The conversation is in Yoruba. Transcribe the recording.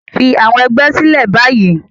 Fi àwọn ẹgbẹ́ sílẹ̀ báyìí